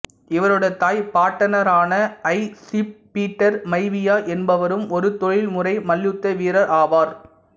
இவருடைய தாய் பாட்டனாரான ஹை சீஃப் பீட்டர் மைவியா என்பவரும் ஒரு தொழில்முறை மல்யுத்த வீரர் ஆவார்